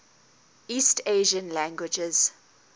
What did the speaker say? east asian languages